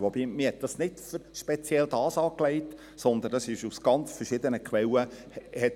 Man hatte dieses nicht speziell dafür angelegt, sondern es sammelte sich aus ganz verschiedenen Quellen an.